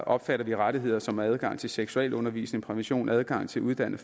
opfatter vi rettigheder som adgang til seksualundervisning prævention adgang til uddannet